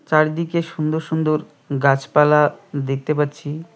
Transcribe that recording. চারিদিকে সুন্দর সুন্দর গাছপালা দেখতে পাচ্ছি।